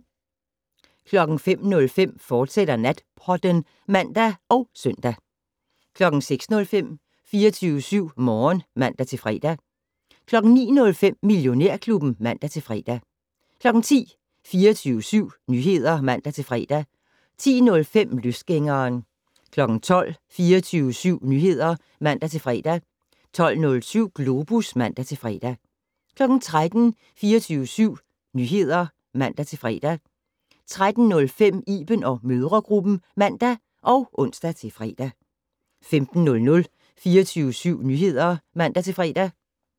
05:05: Natpodden *(man og søn) 06:05: 24syv Morgen (man-fre) 09:05: Millionærklubben (man-fre) 10:00: 24syv Nyheder (man-fre) 10:05: Løsgængeren 12:00: 24syv Nyheder (man-fre) 12:07: Globus (man-fre) 13:00: 24syv Nyheder (man-fre) 13:05: Iben & mødregruppen (man og ons-fre) 15:00: 24syv Nyheder (man-fre)